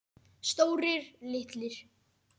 Stórir, litlir.